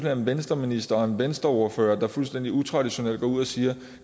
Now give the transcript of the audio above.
er en venstreminister og en venstreordfører der fuldstændig utraditionelt går ud og siger at